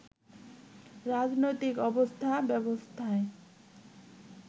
রাজনৈতিক অবস্থা ব্যবস্থায়